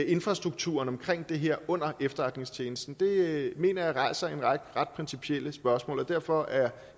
infrastrukturen omkring det her under efterretningstjenesten mener jeg rejser en række ret principielle spørgsmål og derfor er